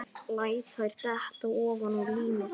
Læt þær detta ofaná límið.